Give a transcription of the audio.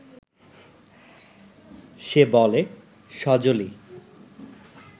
সে বলে, সজলই